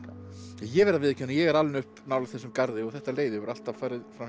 ég verð að viðurkenna að ég er alinn upp nálægt þessum garði og þetta leiði hefur alltaf farið